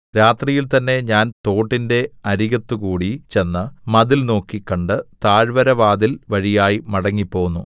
രാത്രിയിൽ തന്നെ ഞാൻ തോട്ടിന്റെ അരികത്തുകൂടി ചെന്ന് മതിൽ നോക്കി കണ്ട് താഴ്വരവാതിൽ വഴിയായി മടങ്ങിപ്പോന്നു